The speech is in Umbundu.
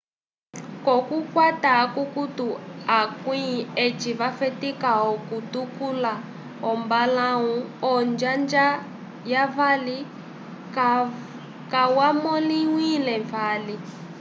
k'okukwata akukutu akwĩ eci vafetika okutuluka ombalãwu onjanja yavali kayamõliwile vali